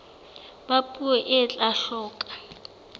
ba puo e tla hloka